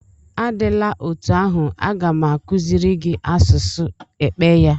Adịla otú ahụ, a ga m akuziri gị asụsụ Ekpeye.